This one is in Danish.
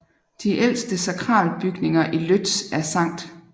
De ældste sakralbygninger i Łódź er St